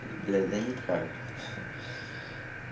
блять да никак ха